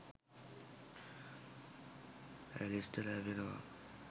ඇලිස්ට ලැබෙනවා.